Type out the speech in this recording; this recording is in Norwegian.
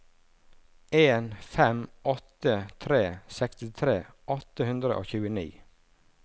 en fem åtte tre sekstitre åtte hundre og tjueni